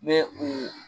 Ne u